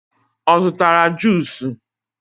ọ zụtara juusu?